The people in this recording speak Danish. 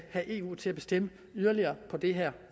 have eu til at bestemme yderligere på det her